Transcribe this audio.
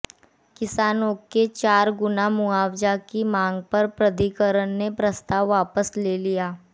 किसानों के चार गुना मुआवजा की मांग पर प्राधिकरण ने प्रस्ताव वापस ले लिया